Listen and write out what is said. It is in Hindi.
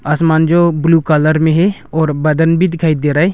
आसमान जो ब्लू कलर में है और बादन भी दिखाई दे रहा है।